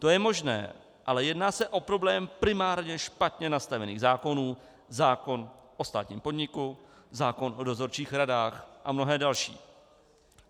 To je možné, ale jedná se o problém primárně špatně nastavených zákonů, zákon o státním podniku, zákon o dozorčích radách a mnohé další.